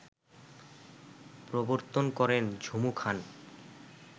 প্রবর্তন করেন ঝুমু খান